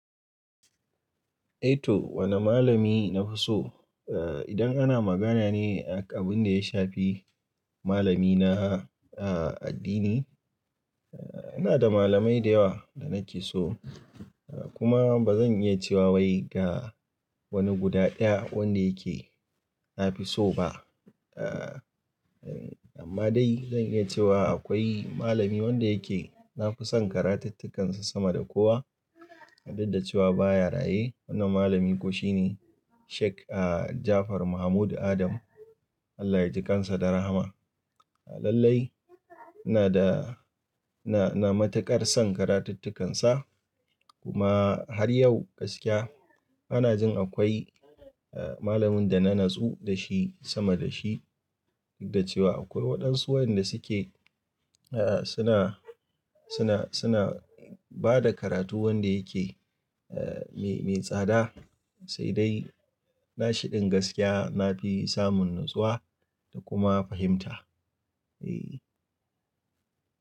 Eh to wane malami na fi so? Eh idan ana magana ne akan abin da ya shafi malamina a addini, eh ina da malamai da yawa da nake so kuma ba zan iya cewa wai ga wani guda ɗaya wanda yake na fi so ba. Eh amma dai zan iya cewa akwai malami wanda yake nafi son karatuttukansa sama da kowa, inda cewa baya raye wannan malami ko shine Sheik Ja'afar Mahmud Adam. Allah ya ji kansa da rahama. Lallai ina da na matuƙar son karatuttukansa kuma har yau gaskiya bana jin akwai malamin da na natsu da shi sama da shi, duk da cewa akwai waɗansu wayanda suke suna, suna, suna bada karatu wanda yake eh mai, mai tsada. Sai dai nashi din gaskiya nafi samun natsuwa da kuma fahimta. Eh.